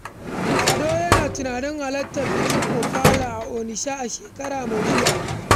Ado yana tunanin halartar bikin Ofala a Onitsha a shekara mai zuwa.